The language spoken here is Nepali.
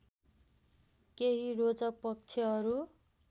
केही रोचक पक्षहरू